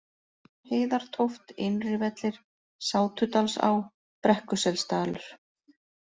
Heiðartóft, Innrivellir, Sátudalsá, Brekkuselsdalur